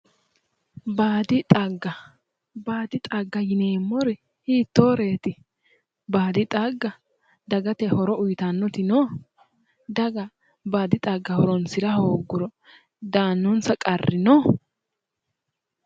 Baadi xagga baadi xagga yineemmori hiittooreeti? baadi xagga dagate horo uuyitannoti no? daga baadi xagga horonsira hooguro daannonsa qarri no?